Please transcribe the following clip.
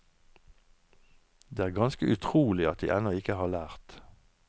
Det er ganske utrolig at de ennå ikke har lært.